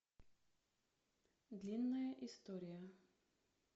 длинная история